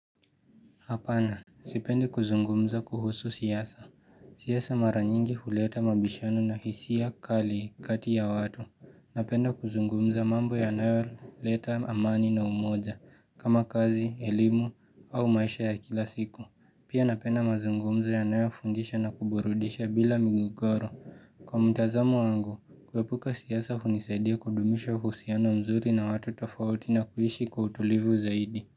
Apana. Sipende kuzungumza kuhusu siyasa. Siyasa mara nyingi huleta mabishano na hisi ya kali kati ya watu. Napenda kuzungumza mambo ya nayo leta amani na umoza kama kazi, elimu au maisha ya kila siku. Pia napenda mazungumza ya nayo fundisha na kuburudisha bila migogoro. Kwa mtazamu wangu, kwepuka siyasa unisaidia kudumisha husiano mzuri na watu tofauti na kuhishi kutulivu zaidi.